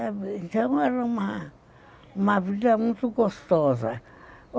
Então era uma vida muito gostosa.